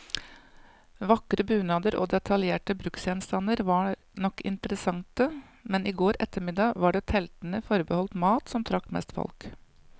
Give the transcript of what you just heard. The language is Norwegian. Vakre bunader og detaljerte bruksgjenstander var nok interessante, men i går ettermiddag var det teltene forbeholdt mat, som trakk mest folk.